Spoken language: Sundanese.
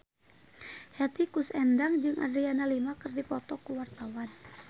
Hetty Koes Endang jeung Adriana Lima keur dipoto ku wartawan